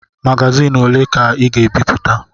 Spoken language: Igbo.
Magazin ole ka Ị ga-ebipụta?